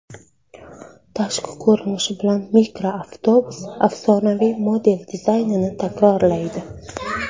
Tashqi ko‘rinishi bilan mikroavtobus afsonaviy model dizaynini takrorlaydi.